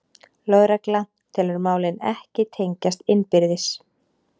Lögregla telur málin ekki tengjast innbyrðis